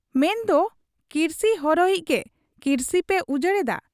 ᱢᱮᱱᱫᱚ ᱠᱤᱨᱥᱤ ᱦᱚᱨᱚᱭᱤᱡ ᱜᱮ ᱠᱤᱨᱥᱤ ᱯᱮ ᱩᱡᱟᱹᱲᱮᱫᱟ ᱾